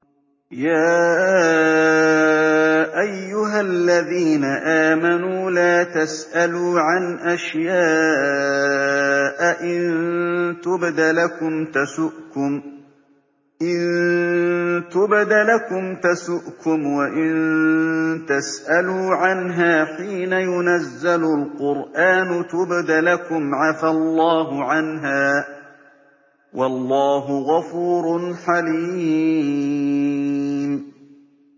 يَا أَيُّهَا الَّذِينَ آمَنُوا لَا تَسْأَلُوا عَنْ أَشْيَاءَ إِن تُبْدَ لَكُمْ تَسُؤْكُمْ وَإِن تَسْأَلُوا عَنْهَا حِينَ يُنَزَّلُ الْقُرْآنُ تُبْدَ لَكُمْ عَفَا اللَّهُ عَنْهَا ۗ وَاللَّهُ غَفُورٌ حَلِيمٌ